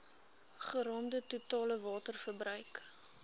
geraamde totale waterverbruik